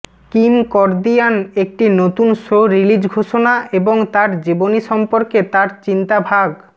Kim Kardashian একটি নতুন show release ঘোষণা এবং তার জীবনী সম্পর্কে তার চিন্তা ভাগ